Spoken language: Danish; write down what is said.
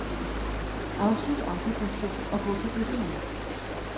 Afslut autofunktion og gå til definér.